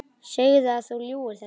Segðu að þú ljúgir þessu!